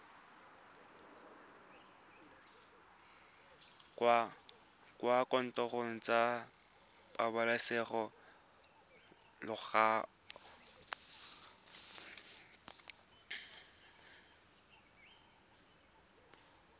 kwa dikantorong tsa pabalesego loago